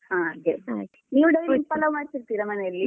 ಹಾಗೆ ನೀವು daily ಪಲಾವ್ ಮಾಡ್ತಿರ್ತೀರ ಮನೆಯಲ್ಲಿ.